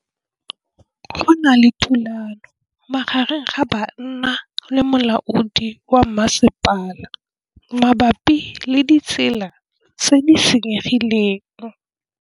Go na le thulanô magareng ga banna le molaodi wa masepala mabapi le ditsela tse di senyegileng.